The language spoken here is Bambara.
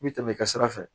I bi tɛmɛ i ka sira fɛ